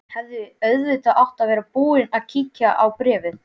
Hefði auðvitað átt að vera búin að kíkja á bréfið.